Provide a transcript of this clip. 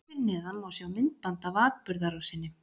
Hér fyrir neðan má sjá myndband af atburðarrásinni.